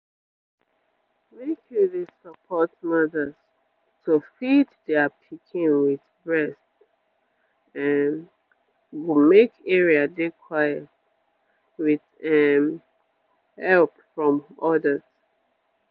make you dey support mothers to feed their pikin with breast um go make area dey quiet with um help from others